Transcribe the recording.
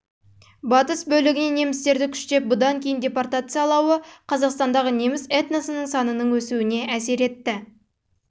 батыс бөлігінен немістерді күштеп бұдан кейін депортациялауы қазақстандағы неміс этносының санының өсуіне әсер етті